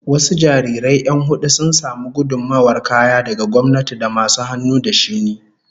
Wasu jarirai 'yan hudu sun samu gudummawar kaya daga gwamnati da masu hannu da shuni